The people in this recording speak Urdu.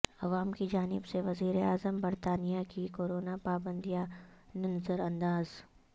عوام کی جانب سے وزیر اعظم برطانیہ کی کورونا پابندیا ںنظرانداز